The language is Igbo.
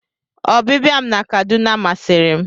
Ọbịbịa m na Kaduna masịri m.